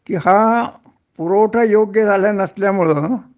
कि हा पुरवठा योग्य झाला नसल्यामुळं